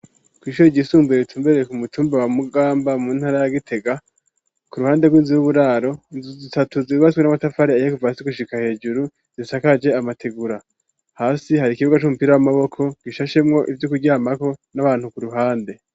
Kw'ishure ryisumbuye ritumbereye ku mutumba wa Mugamba mu ntara ya Gitega, ku ruhande rw'inzu y'uburaro inzu zitatu zubatswe n'amatafari ahiye kuva hasi gushika hejuru zisakaje amategura, hasi hari ikibuga c'umupira w'amaboko gishashemwo ivyo kuryamako, n'abantu ku ruhande.